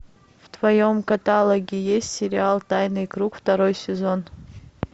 в твоем каталоге есть сериал тайный круг второй сезон